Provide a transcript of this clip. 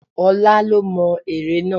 Ọlá lo mo ère náà.